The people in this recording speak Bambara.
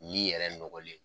yɛrɛ nɔgɔlen don.